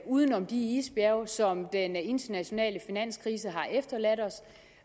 uden om de isbjerge som den internationale finanskrise har efterladt os